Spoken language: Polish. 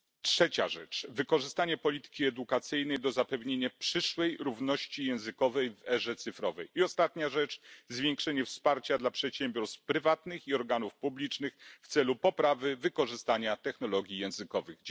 Trzecia rzecz, wykorzystanie polityki edukacyjnej do zapewnienia przyszłej równości językowej w erze cyfrowej i ostatnia rzecz zwiększenie wsparcia dla przedsiębiorstw prywatnych i organów publicznych w celu poprawy wykorzystania technologii językowych.